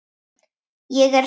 Ég er sterk.